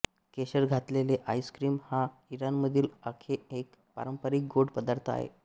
केशर घातलेले आईस्क्रीम हा इराणमधील आंखे एक पारंपरिक गोड पदार्थ आहे